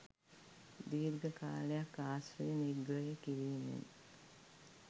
දීර්ඝ කාලයක් ආශ්‍රය නිග්‍රය කිරීමෙන්